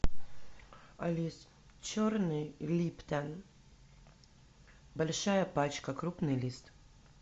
алиса черный липтон большая пачка крупный лист